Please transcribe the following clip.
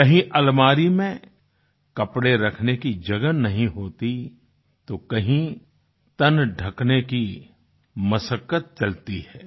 कहीं अलमारी में कपड़े रखने की जगह नहीं होती तो कहीं तन ढकने की मसक्कत मशक्कत चलती है